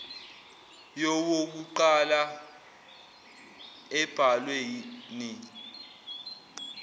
yowokuqala embhalwe ni